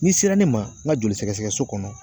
N'i sera ne ma n ka joli sɛgɛsɛgɛso kɔnɔ